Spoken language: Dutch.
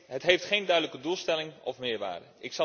Het heeft geen duidelijke doelstelling of meerwaarde.